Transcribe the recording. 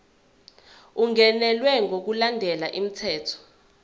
ungenelwe ngokulandela umthetho